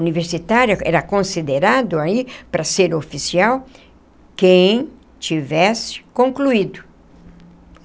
Universitária era considerado aí, para ser oficial, quem tivesse concluído.